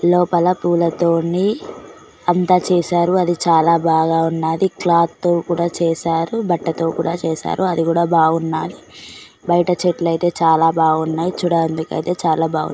లోపల పూలతోని అంతా చేశారు అది చాలా బాగా ఉన్నాది క్లాత్ కూడా చేశారు బట్టతో కూడా చేశారు అది కూడా బాగున్నాది బైట చెట్లయితే చాలా బాగున్నాయ్ చూడ అందుకు అయితే చాలా బాగు --